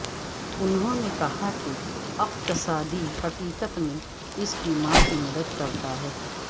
انہوں نے کہا کہ اقتصادی حقیقت میں اس کی ماں کی مدد کرتا ہے